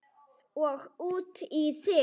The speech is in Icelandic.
Og út í þig.